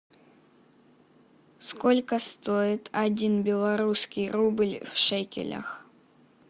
сколько стоит один белорусский рубль в шекелях